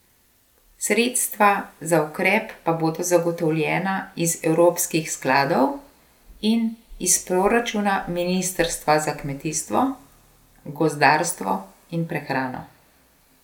Sredstva za ukrep pa bodo zagotovljena iz evropskih skladov in iz proračuna ministrstva za kmetijstvo, gozdarstvo in prehrano.